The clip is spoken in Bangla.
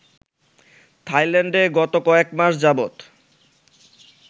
থাইল্যান্ডে গত কয়েক মাস যাবত